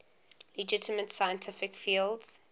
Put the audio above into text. legitimate scientific fields